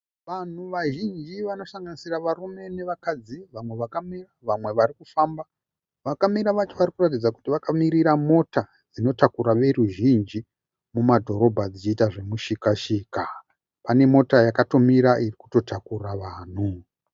Vanhu vazhinji vanosanganisira varume nevakadzi. Vamwe vakamira vamwe varikufamba . Vakamira vacho varikutaridza kuti vakamirira mota dzinotakura voruzhinji mumadhorobha dzichiita zvomushika-shika. Pane mota yakatomira ikutotakura vanhu.